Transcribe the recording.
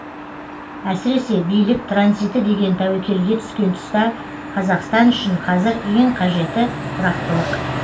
әсіресе билік транзиті деген тәуекелге түскен тұста қазақстан үшін қазір ең қажеті тұрақтылық